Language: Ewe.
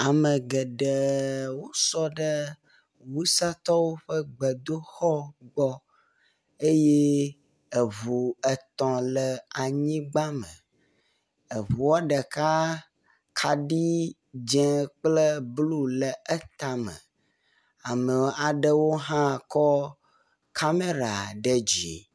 Ame geɖe sɔ ɖe wusatɔwo ƒe gbedoxɔ gbɔ eye eŋu etɔ̃ le anyigba, eŋua ɖeka kaɖi dzẽ kple blu le etame. Ame aɖewo hã kɔ kamera ɖe dzi.